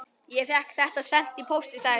Ég fékk þetta sent í pósti, sagði Sveinn.